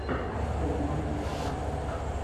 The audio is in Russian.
открой намик абасов